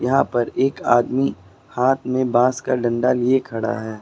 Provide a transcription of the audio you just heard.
यहां पर एक आदमी हाथ में बास का डंडा लिए खड़ा है।